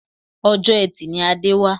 Ọjọ́ etì ni Adé wá